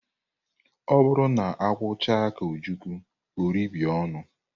Ọ bụrụ na akwụ chaa ka ojukwu ọ rebie ọnụ.